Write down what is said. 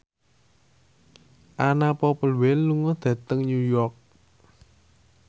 Anna Popplewell lunga dhateng New York